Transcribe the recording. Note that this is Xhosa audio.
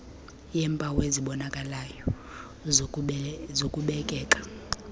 yeempawu ezibonakalayo zokubekeka